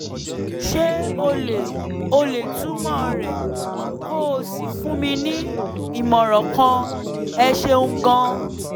ṣé o lè o lè túmọ̀ rẹ̀ kó o sì fún mi ní ìmọ̀ràn kan? ẹ ṣeun gan-an